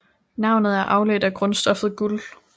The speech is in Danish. Navnet er afledt af grundstoffet guld